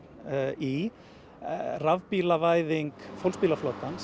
í rafbílavæðing